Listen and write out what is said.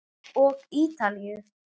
Og Ítalíu.